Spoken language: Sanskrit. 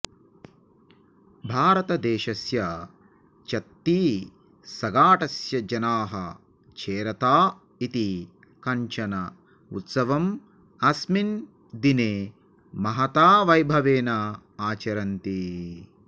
भारतदेशस्य छत्तीसगढस्य जनाः छेरता इति कञ्चन उत्सवम् अस्मिन् दिने महता वैभवेन आचरन्ति